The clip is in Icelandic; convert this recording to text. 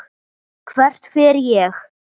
Hvert fer ég?